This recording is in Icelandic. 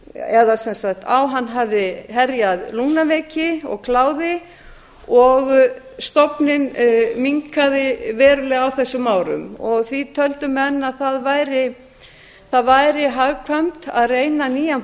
eða sem sagt á hann hafði herjað lungnaveiki og kláði og stofninn minnkaði verulega á þessum árum því töldu menn að það væri hagkvæmt að reyna nýjan